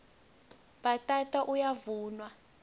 bhatata uyavunwa